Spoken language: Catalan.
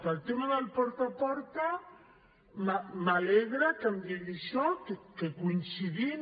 en el tema del porta a porta m’alegra que em digui això que hi coincidim